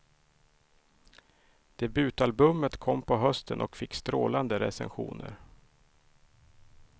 Debutalbumet kom på hösten och fick strålande recensioner.